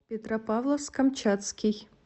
петропавловск камчатский